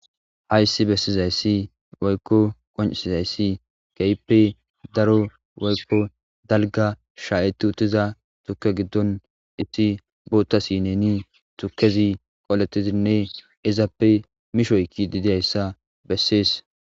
Hayssi bessizayssi woykko qonisizayssi keehippe daro woykko dalgga shayyeiti uttiza tuuke giddon issi bootta sineni tuukezi qoletizinne izappe mishoykidi diyayssa bessees